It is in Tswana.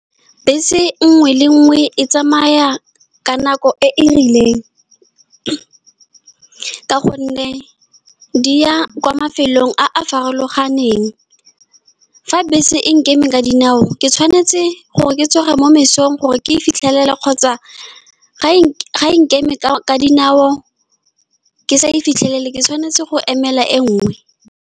Bese nngwe le nngwe e tsamaya ka nako e e rileng, ka gonne di ya kwa mafelong a a farologaneng. Fa bese e nkeme ka dinao, ke tshwanetse gore ke tsoge mo mosong gore ke e fitlhelele, kgotsa fa e sa nkeme ka dinao, ke sa e fitlhelele, ke tshwanetse go emela e nngwe.